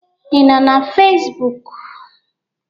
Ị nọ na Fezbụk?